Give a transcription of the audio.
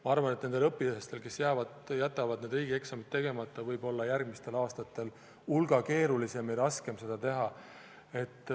Ma arvan, et nendel õpilastel, kes jätavad sel aastal riigieksamid tegemata, võib järgmistel aastatel olla hulga keerulisem ja raskem neid teha.